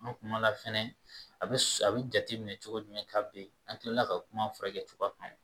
An kuma la fɛnɛ a bɛ a bɛ jate minɛ cogo jumɛn ka ben an kila la ka kuma furakɛ cogoya kan